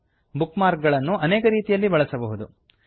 book mark ಗಳನ್ನು ಅನೇಕ ರೀತಿಯಲ್ಲಿ ಬಳಸಬಹುದು